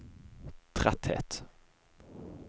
tretthet